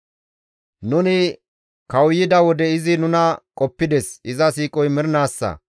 Nuni kawuyida wode izi nuna qoppides; iza siiqoy mernaassa.